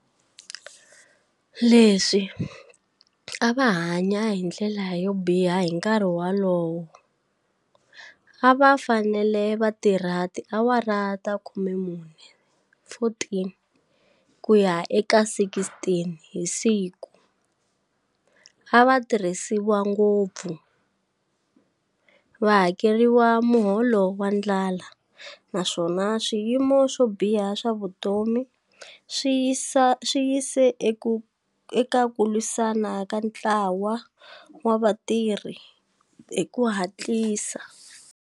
Leswi a va hanya hi ndlela yo biha hi nkarhi wolowo, a va fanele va tirha tiawara ta 14 ku ya eka 16 hi siku, a va tirhisiwa ngopfu, va hakeriwa muholo wa ndlala naswona swiyimo swo biha swa vutomi swi yise eka ku lwisana ka ntlawa wa vatirhi hi ku hatlisa.